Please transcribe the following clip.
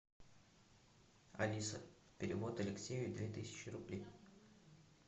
алиса перевод алексею две тысячи рублей